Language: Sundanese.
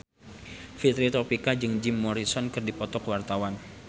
Fitri Tropika jeung Jim Morrison keur dipoto ku wartawan